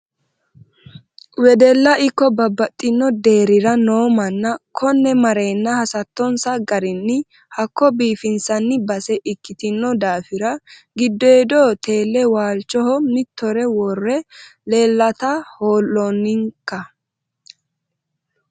Wedella ikko babbaxxino deerira no manna kone marenna hasattonsa garinni hakko biifimsanni base ikkitino daafira giddodo tele waalchoho mitore worre leellatta ho'lonnikka.